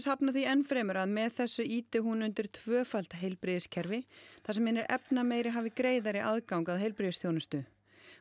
hafnar því enn fremur að með þessu ýti hún undir tvöfalt heilbrigðiskerfi þar sem hinir efnameiri hafi greiðari aðgang að heilbrigðisþjónustu